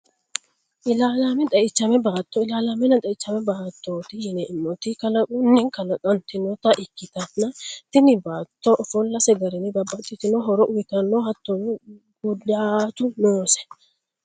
Ilalamenna xeichame baato, ilalamenna xeichame baatoti yineemoti kalaqunni kalqantinotta ikkitanna tini baato ofolase garinni babaxitino horo uyitanno hattono gudaatu noose